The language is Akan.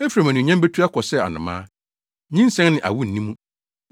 Efraim anuonyam betu akɔ sɛ anomaa, nyinsɛn ne awo nni ne mu.